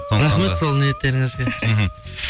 рахмет сол ниеттеріңізге мхм